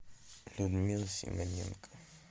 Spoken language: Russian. людмила семененко